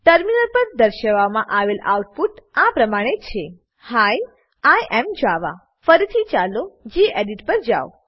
terminal પર દર્શાવવામાં આવેલ આઉટપુટ આ પ્રમાણે છે હી આઇ એએમ જાવા ફરીથી ચાલો ગેડિટ પર જાવ